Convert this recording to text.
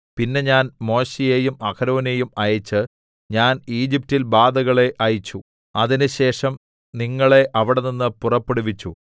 പിന്നെ ഞാൻ മോശെയെയും അഹരോനെയും അയച്ചു ഞാൻ ഈജിപ്റ്റിൽ ബാധകളെ അയച്ചു അതിന്‍റെശേഷം നിങ്ങളെ അവിടെനിന്ന് പുറപ്പെടുവിച്ചു